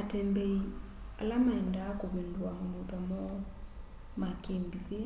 atembeĩ ala maendaa kũvĩndũwa mamũtha moo ma kĩmbĩthĩ